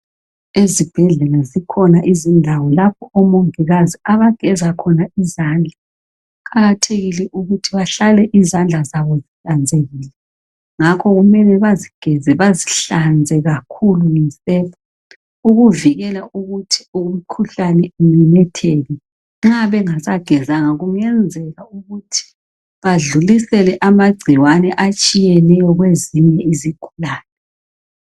Ezibhedlela kukhona izindawo lapho omongikazi abageza khona izandla kuqakathekile ukuthi bahlale izandla zabo zihlanzekile ngakho kumele bazigeze bazihlanze kakhulu ngesepha ukuvikela ukuthi umkhuhlane umemetheke nxa bengasa kungenzeka ukuthi badlulisele amagcikwane atshiyeneyo kwezinye izigulane